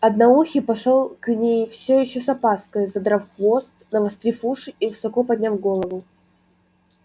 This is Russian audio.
одноухий пошёл к ней всё ещё с опаской задрав хвост навострив уши и высоко подняв голову